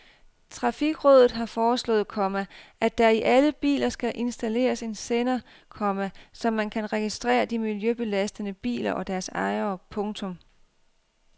Trafikrådet har foreslået, komma at der i alle biler skal installeres en sender, komma så man kan registrere de miljøbelastende biler og deres ejere. punktum